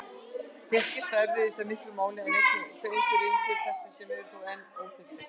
Hér skipta erfðir því miklu máli en einnig einhverjir umhverfisþættir sem eru þó enn óþekktir.